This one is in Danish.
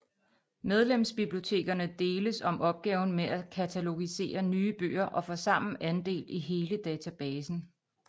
Medlemsbibliotekerne deles om opgaven med at katalogisere nye bøger og får sammen andel i hele databasen